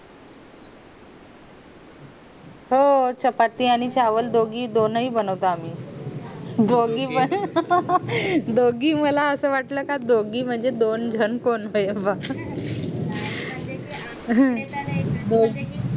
हो चपाती आणि चावलं दोगी दोन्ही बनवतो आम्ही दोगी पण दोगी मला असं वाटलं का दोगी म्हणजे दोनजण कोण बोअ दोगी